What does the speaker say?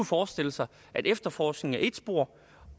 forestille sig at efterforskningen er ét spor